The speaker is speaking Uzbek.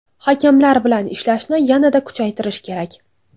Hakamlar bilan ishlashni yanada kuchaytirish kerak.